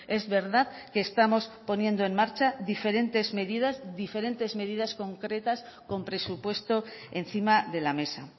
es verdad que estamos poniendo en marcha diferentes medidas diferentes medidas concretas con presupuesto encima de la mesa